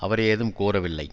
அவர் ஏதும் குறவில்லை